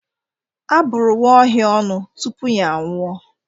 Abụrụ nwaohia ọnụ tupu ya anwụọ